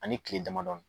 Ani kile damadɔ